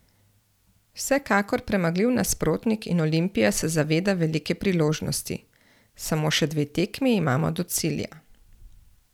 Vsekakor premagljiv nasprotnik in Olimpija se zaveda velike priložnosti: "Samo še dve tekmi imamo do cilja.